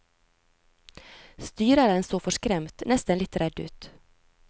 Styreren så forskremt, nesten litt redd ut.